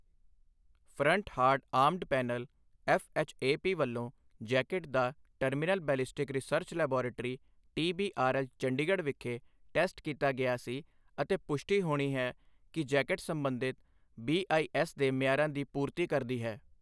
Front hard armour panel FHAP ਵੱਲੋਂ jacket ਦਾ terminal ballistic research laboratory TBRL, Chandigarh ਵਿਖੇ test ਕੀਤਾ ਗਿਆ ਸੀ ਅਤੇ ਪੁਸ਼ਟੀ ਹੋਣੀ ਹੈ ਕਿ ਜੈਕੇਟ ਸੰਬੰਧਿਤ ਬੀਆਈਐਸ ਦੇ ਮਿਆਰਾਂ ਦੀ ਪੂਰਤੀ ਕਰਦੀ ਹੈ।